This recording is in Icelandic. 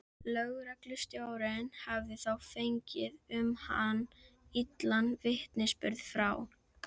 Lögreglustjórinn hafði þá fengið um hann illan vitnisburð frá